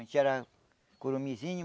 A gente era curuminzinho,